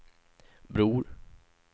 Bror